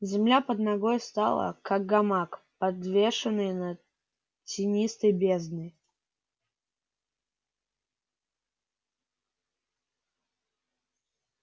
земля под ногой стала как гамак подвешенный над тинистой бездной